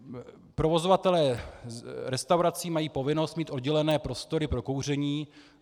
Provozovatelé restaurací mají povinnost mít oddělené prostory pro kouření.